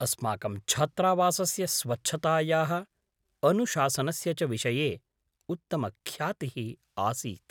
अस्माकं छात्रावासस्य स्वच्छतायाः अनुशासनस्य च विषये उत्तमख्यातिः आसीत् ।